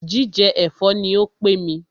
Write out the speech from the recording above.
Jíjẹ ẹ̀fọ́ ní o pé mí.